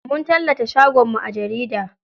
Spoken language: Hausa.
Mun tallata shagon mu a jarida.